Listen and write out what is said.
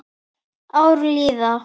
Ár líða.